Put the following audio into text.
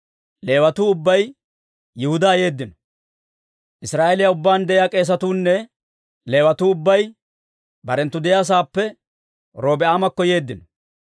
Israa'eeliyaa ubbaan de'iyaa k'eesatuu nne Leewatuu ubbay barenttu de'iyaa sa'aappe Robi'aamakko yeeddino.